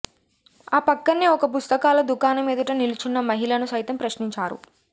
ఆ పక్కన్నే ఒక పుస్తకాల దుకాణం ఎదుట నిలుచున్న మహిళను సైతం ప్రశ్నించారు